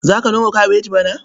Za ka noma kabeji bana?